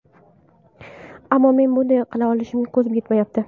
Ammo men bunday qila olishimga ko‘zim yetmayapti”.